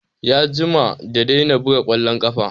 Ya jima da daina buga ƙwallon ƙafa